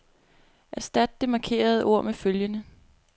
Erstat det markerede ord med følgende.